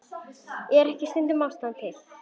Er ekki stundum ástæða til?